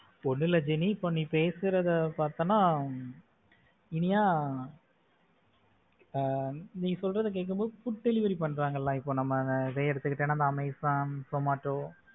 ஒன்னும் இல்ல ஜெனி, இப்போ நீ பேசுறத பார்த்தேன்னா இனியா ஆஹ் நீ சொல்றத கேட்கும் போது food delivery பண்றாங்க இல்ல. இப்போ நம்ம இதை எடுத்து கிட்டா amazon, zomato